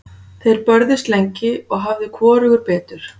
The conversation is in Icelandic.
Þeir börðust lengi og hafði hvorugur betur.